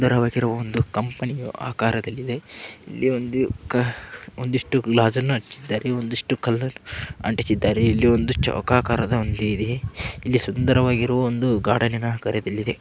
ಸುಂದರವಾಗಿ ಇರುವ ಒಂದು ಕಂಪನಿ ಆಕರದಲ್ಲಿ ಇದೆ ಇಲ್ಲಿ ಒಂದು ಒಂದಿಷ್ಟು ಗಾಜಿನ ಒಂದಿಷ್ಟು ಕಲ್ಲನ್ನ ಅಂಟಿಸಿದ್ದಾರೆ ಇಲ್ಲಿ ಚೌಕಾಕಾರದ ಇದೆ ಇಲ್ಲಿ ಸುಂದರವಗಿರುವ ಒಂದು ಗಾರ್ಡನಿ ನ --